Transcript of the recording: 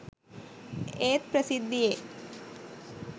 ඒත් ප්‍රසිද්ධියේ